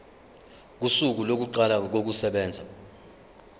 kosuku lokuqala kokusebenza